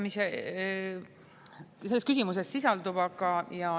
Ma ei nõustu selles küsimuses sisalduvaga.